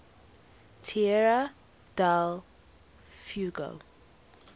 tierra del fuego